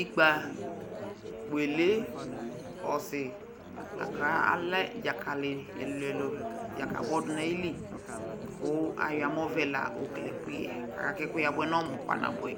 ikpea walee ɔsi alɛ dzakali dzakabɔ dunayili kʋ ayɔ amɔvɛ la yɔkele ekʋyɛɛ aka kɛkʋyɛ abuɛ nʋ ɔmʋʋ kpa nabuɛ